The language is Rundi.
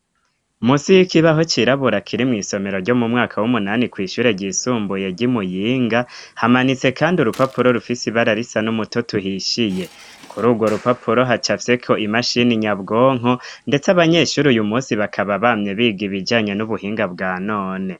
Munsi y'ikibaho cirabura kiri mw'isomero ryo mu mwaka w'umunani ku ishure ryisumbuye gimuyinga hamanitse kandi urupapuro rufisi ibararisa n'umutoto uhishiye. Kuri urwo rupapuro hacafyeko imashini nyabwonko, ndetse abanyeshuri uyu munsi bakaba bamye biga ibijanye n'ubuhinga bwa none.